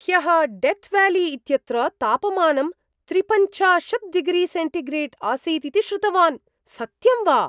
ह्यः डेथ्व्याली इत्यत्र तापमानं त्रिपञ्चाशत् डिग्रीसेण्टिग्रेड् आसीत् इति श्रुतवान्, सत्यं वा?